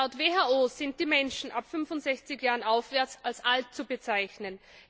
Laut WHO sind die Menschen ab 65 Jahren aufwärts als alt zu bezeichnen.